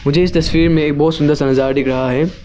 जीस तस्वीर में एक बहुत सुंदर सा नजारा दिख रहा है।